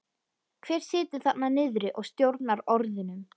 Hver situr þarna niðri og stjórnar orðunum?